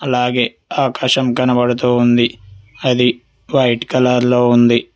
అలాగే ఆకాశం కనబడుతూ ఉంది అది వైట్ కలర్ లో ఉంది.